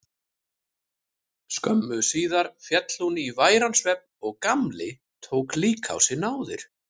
Skömmu síðar féll hún í væran svefn og Gamli tók líka á sig náðir.